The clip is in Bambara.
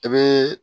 I bɛ